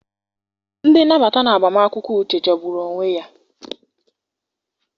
Ndị nnabata na agbamakwụkwọ Uche jọgburu onwe ya.